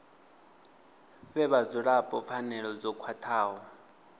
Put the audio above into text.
fhe vhadzulapo pfanelo dzo khwathaho